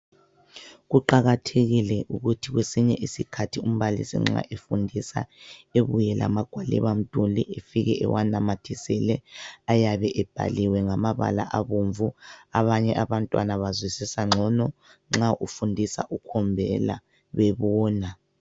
Kuqakathekile ukuthi kwesinye isikhathi umbalisi nxa efundisa ebuye lamagwalibamduli efike ewanamathisele. Ayabe ebhaliwe ngamabala abomvu. Abanye abantwana bazwisisa ngcono nxa ufundisa ukhombela bebona.